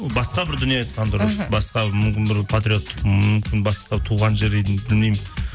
басқа бір дүние айтқан дұрыс іхі басқа мүмкін бір патриоттық мүмкін басқа туған жер білмеймін